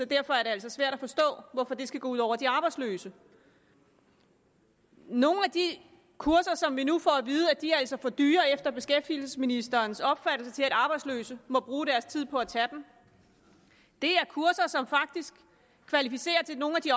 derfor er det altså svært at forstå hvorfor det skal gå ud over de arbejdsløse nogle af de kurser som vi nu får at vide efter beskæftigelsesministerens opfattelse til at arbejdsløse må bruge deres tid på at tage er kurser som faktisk kvalificerer til nogle af de